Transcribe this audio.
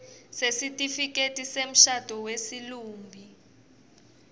sesitifiketi semshado wesilumbi